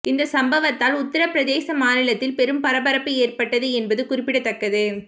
இந்த சம்பவத்தால் உத்தரபிரதேச மாநிலத்தில் பெரும் பரபரப்பு ஏற்பட்டது என்பது குறிப்பிடத்தக்கது